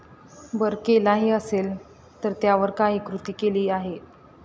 बरं केलाही असेल तर त्यावर काही कृती केली आहे?